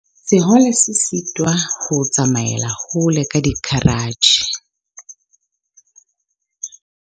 sehole se sitwa ho tsamaela hole ka dikeratjhe